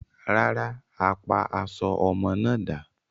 Rárá, a pa aṣọ ọmọ náà dà.